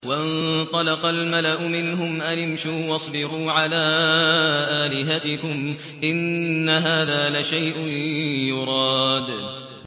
وَانطَلَقَ الْمَلَأُ مِنْهُمْ أَنِ امْشُوا وَاصْبِرُوا عَلَىٰ آلِهَتِكُمْ ۖ إِنَّ هَٰذَا لَشَيْءٌ يُرَادُ